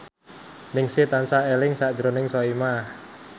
Ningsih tansah eling sakjroning Soimah